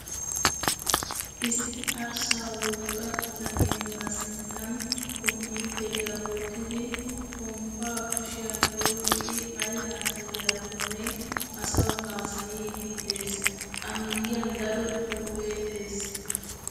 Issi arssa wogga bitanee ba sinttan komppiiteriyaa wottidi pomppaa kushiyan oyiqqidi ayi haasayiyaakkonne asawu haasayiidi des. A miyyiyan daro xuupee des.